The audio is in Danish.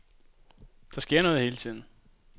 Der sker noget hele tiden.